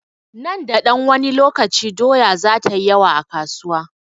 Nan da ɗan wani lokaci, doya za ta yi yawa a kasuwa.